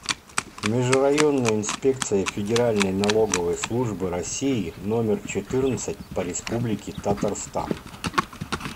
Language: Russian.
межрайонная инспекция федеральной налоговой службы россии номер четырнадцать по республике татарстан